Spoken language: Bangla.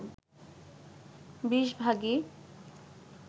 ২০ ভাগই